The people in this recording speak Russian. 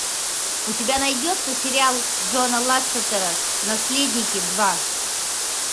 у тебя найдется сериал джона лассетера наследники два